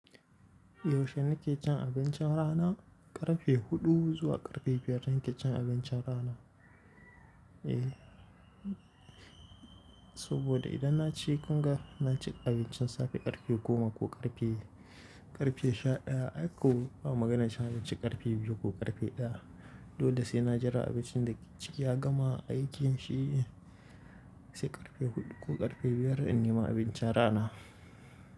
Yaushe nake cin abincin rana? Ƙarfe huɗu zuwa ƙarfe biyar zan ke cin abincin rana. Eh, saboda idan na ci kungar na ci abincin safe ƙarfe goma ko ƙarfe, ƙarfe sha ɗaya ko ba magana sha biyu ci ƙarfe biyu ko ƙarfe ɗaya. Dodon sai na jira abincin da ciki ya gama aiki shi sai ƙarfe huɗu ko ƙarfe biyar in nima abincin rana.